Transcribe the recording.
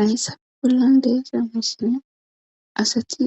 Ahyssaf pollan deesiya masine asati